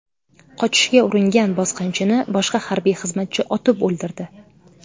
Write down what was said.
Qochishga uringan bosqinchini boshqa harbiy xizmatchi otib o‘ldirdi.